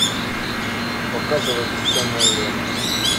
показывай бесценное время